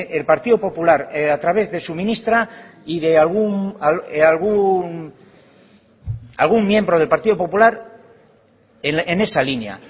el partido popular a través de su ministra y de algún miembro del partido popular en esa línea